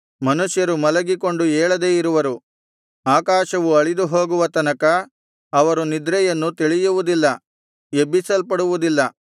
ಮನುಷ್ಯರು ಮಲಗಿಕೊಂಡು ಏಳದೇ ಇರುವರು ಆಕಾಶವು ಅಳಿದು ಹೋಗುವ ತನಕ ಅವರು ನಿದ್ರೆಯನ್ನು ತಿಳಿಯುವುದಿಲ್ಲ ಎಬ್ಬಿಸಲ್ಪಡುವುದಿಲ್ಲ